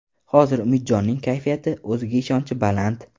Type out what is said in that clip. Hozir Umidjonning kayfiyati, o‘ziga ishonchi baland”.